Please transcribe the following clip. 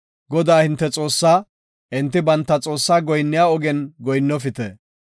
Godaa, hinte Xoossaa enti banta xoossaa goyinniya ogen goyinnofite.